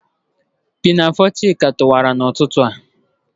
Pinafo Chika toọwara n'ututu a.